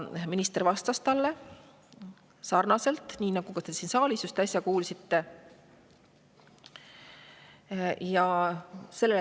Minister vastas talle sarnaselt siin saalis äsja kuulduga.